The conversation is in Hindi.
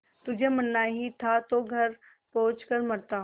तुझे मरना ही था तो घर पहुँच कर मरता